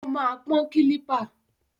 Ó máa pọ́n kílípà.